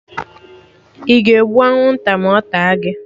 Ị ga-egbu anwụnta ma ọ taa gị?